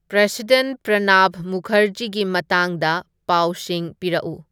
president Pranab ꯃꯨꯈꯔꯖꯤꯒꯤ ꯃꯇꯥꯡꯗ ꯄꯥꯎꯁꯤꯡ ꯄꯤꯔꯛꯎ